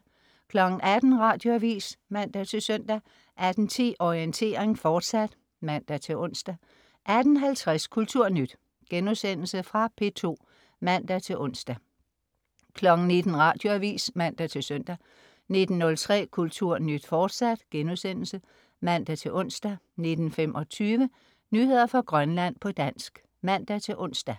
18.00 Radioavis (man-søn) 18.10 Orientering, fortsat (man-ons) 18.50 Kulturnyt.* Fra P2 (man-ons) 19.00 Radioavis (man-søn) 19.03 Kulturnyt, fortsat* (man-ons) 19.25 Nyheder fra Grønland, på dansk (man-ons)